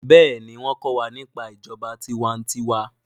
béèni wón ko wà nípa ìjọba tiwa-n-tiwa.